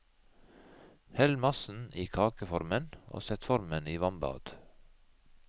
Hell massen i kakeformen og sett formen i vannbad.